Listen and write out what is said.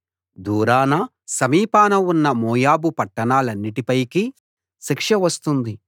దూరాన సమీపాన ఉన్న మోయాబు పట్టణాలన్నిటి పైకి శిక్ష వస్తుంది